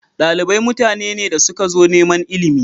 Dalibai mutane ne da suka zo neman ilimi.